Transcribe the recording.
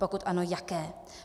Pokud ano, jaké.